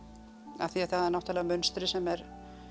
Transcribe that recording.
af því það er náttúrulega munstrið sem er